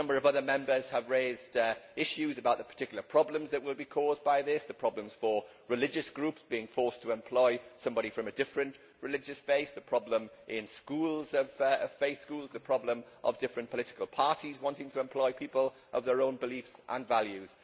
A number of other Members have raised issues about the particular problems that will be caused by this the problems for religious groups being forced to employ somebody from a different religious base, the problem in faith schools, and the problem of different political parties wanting to employ people of their own beliefs and values.